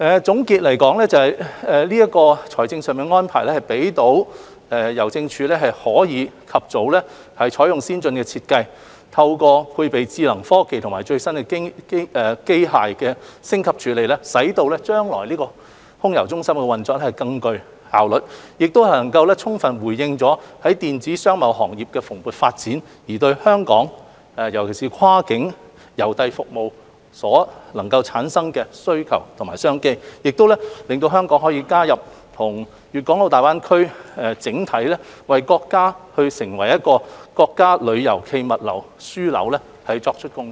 總括而言，這個財政上的安排可讓郵政署及早開展重建計劃，透過採用先進的設計，配備智能科技和最新的機械升級處理能力，使空郵中心將來的運作更具效率，並充分回應電子商貿行業的蓬勃發展對香港跨境郵遞服務所能夠產生的需求和商機，亦令香港能為建設粵港澳大灣區成為國家郵遞暨物流樞紐作出貢獻。